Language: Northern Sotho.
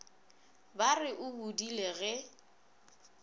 ba re o bodile ge